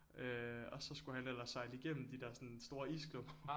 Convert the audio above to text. Øh og så skulle han ellers sejle igennem de der sådan store isklumper